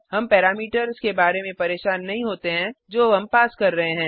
हम पैरामीटर्स के बारे में परेशान नहीं होते हैं जो हम पास कर रहे हैं